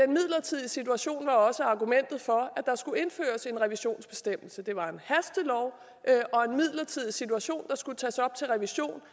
midlertidige situation var også argumentet for at der skulle indføres en revisionsbestemmelse det var en hastelov og en midlertidig situation der skulle tages op til revision